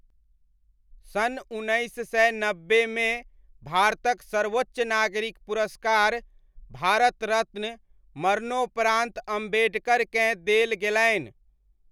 सन् उन्नैस सय नब्बेमे भारतक सर्वोच्च नागरिक पुरस्कार, भारत रत्न मरणोपरान्त अम्बेडकरकेँ देल गेलनि।